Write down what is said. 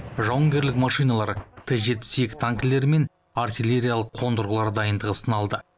жауынгерлік машиналар т жетпіс екі танкілері мен артиллериялық қондырғылар дайындығы сыналды